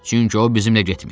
Çünki o bizimlə getmir.